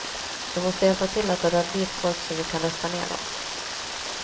Du måste hjälpa till att dra dit folk så att vi kan rösta ner dom.